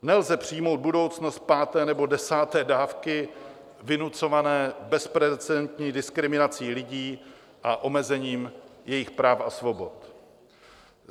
Nelze přijmout budoucnost páté nebo desáté dávky vynucované bezprecedentní diskriminací lidí a omezením jejich práv a svobod.